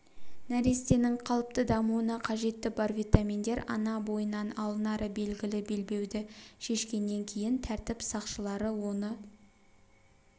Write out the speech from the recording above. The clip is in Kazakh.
нәрестенің қалыпты дамуына қажетті бар витаминдер ана бойынан алынары белгілі белбеуді шешкеннен кейін тәртіп сақшылары оны